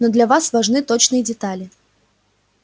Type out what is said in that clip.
но для нас важны точные детали